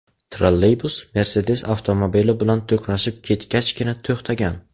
Trolleybus Mercedes avtomobili bilan to‘qnashib ketgachgina to‘xtagan.